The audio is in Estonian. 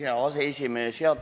Hea aseesimees!